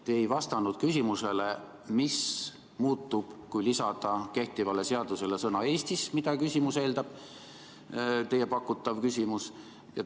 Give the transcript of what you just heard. Te ei vastanud küsimusele, mis muutub, kui lisada kehtivale seadusele sõna "Eestis", mida teie pakutav küsimus eeldab.